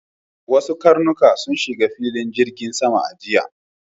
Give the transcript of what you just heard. Wasu karnuka sun shiga filin jirgin sama a jiya.